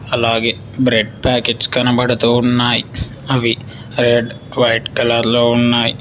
అలాగే bread packets కనపడుతూ ఉన్నాయ్ అవి రెడ్ వైట్ కలర్ లో ఉన్నాయ్.